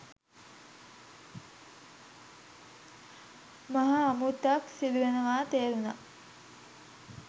මහා අමුත්තක් සිදුවෙනවා තේරුනා.